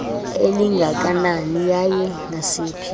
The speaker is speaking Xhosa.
elingakanani yaye ngasiphi